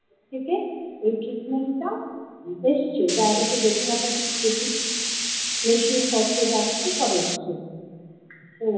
থেকে এই treatment টা এসছে diabetic retinopathy treatment মেশিনপত্র যা কিছু সব এসছে।